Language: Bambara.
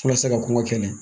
Walasa ka kɔn ka kɛlɛ